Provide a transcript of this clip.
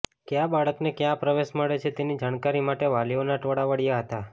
ક્યા બાળકને ક્યાં પ્રવેશ મળે છે તેની જાણકારી માટે વાલીઓના ટોળા વળ્યાં હતા